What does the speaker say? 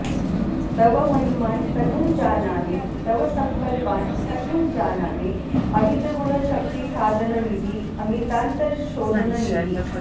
तव महिमान् कथं जानामि तव सङ्कल्पान् कथं जानामि अमित गुणशक्तिसाधननिधि अमितान्तर्शोधन निधि